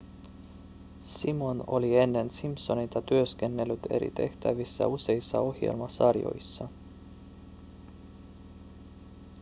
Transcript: simon oli ennen simpsoneita työskennellyt eri tehtävissä useissa ohjelmasarjoissa